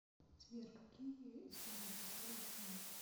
сбер какие история швейцарии ты знаешь